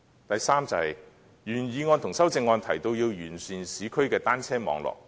第三，原議案和修正案提到完善市區的單車網絡。